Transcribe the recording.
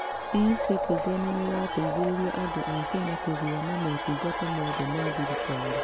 ECitizen nĩrateithĩrĩria andũ a Kenya kũgĩa na motungata mothe ma thirikari.